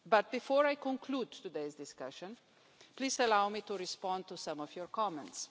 Before I conclude today's discussion, please allow me to respond to some of your comments.